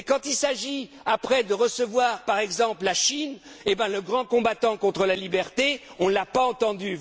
mollo. Mais quand il s'agit, ensuite, de recevoir, par exemple, la Chine, eh bien le grand combattant pour la liberté, on ne l'a pas